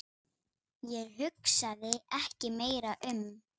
Ég hugsaði ekki meira um